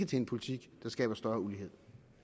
til en politik der skaber større ulighed